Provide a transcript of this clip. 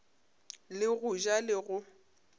le go ja le go